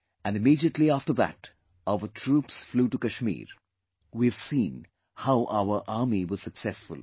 And immediately after that, our troops flew to Kashmir... we've seen how our Army was successful